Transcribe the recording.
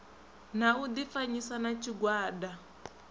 na u difanyisa na tshigwada